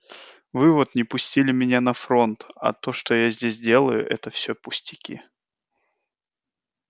вы вот не пустили меня на фронт а то что я здесь делаю это всё пустяки